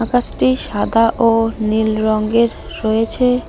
ফার্স্টেই সাদা ও নীল রঙ্গের রয়েছে।